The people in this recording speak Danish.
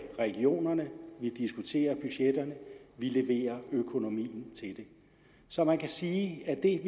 regionerne vi diskuterer budgetterne vi leverer økonomien til det så man kan sige at det